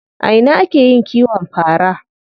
A ina ake yin kiwon fara?